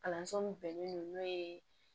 Kalanso min bɛnnen don n'o ye